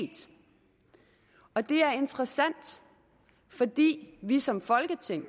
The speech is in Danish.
og det er interessant fordi vi som folketing